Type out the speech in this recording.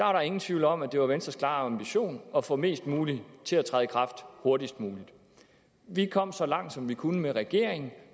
var der ingen tvivl om at det var venstres klare ambition at få mest muligt til at træde i kraft hurtigst muligt vi kom så langt som vi kunne med regeringen